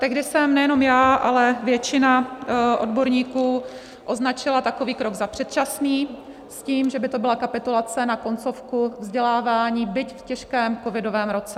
Tehdy jsem nejenom já, ale většina odborníků označila takový krok za předčasný s tím, že by to byla kapitulace na koncovku vzdělávání, byť v těžkém covidovém roce.